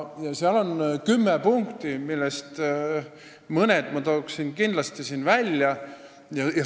Selles on kümme punkti, millest mõned ma toon siin välja.